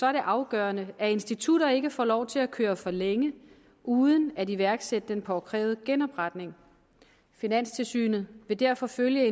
er det afgørende at institutter ikke får lov til at køre videre for længe uden at iværksætte den påkrævede genopretning finanstilsynet vil derfor følge et